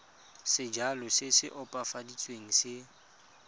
sejalo se se opafaditsweng se